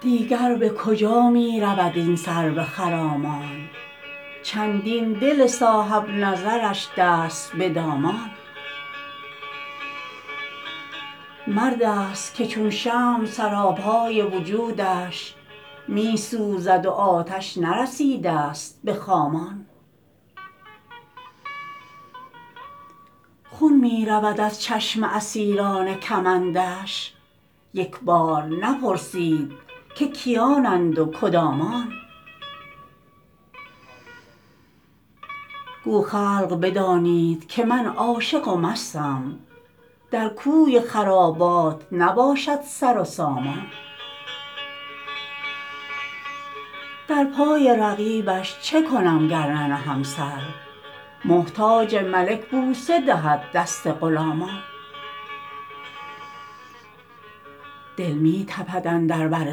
دیگر به کجا می رود این سرو خرامان چندین دل صاحب نظرش دست به دامان مرد است که چون شمع سراپای وجودش می سوزد و آتش نرسیده ست به خامان خون می رود از چشم اسیران کمندش یک بار نپرسد که کیانند و کدامان گو خلق بدانید که من عاشق و مستم در کوی خرابات نباشد سر و سامان در پای رقیبش چه کنم گر ننهم سر محتاج ملک بوسه دهد دست غلامان دل می تپد اندر بر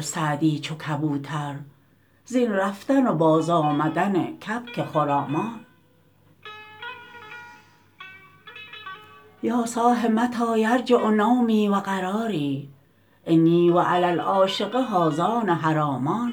سعدی چو کبوتر زین رفتن و بازآمدن کبک خرامان یا صاح متی یرجع نومی و قراری انی و علی العاشق هذان حرامان